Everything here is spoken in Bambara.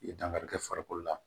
I ye dankari kɛ farikolo la